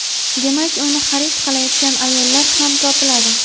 Demak, uni xarid qilayotgan ayollar ham topiladi.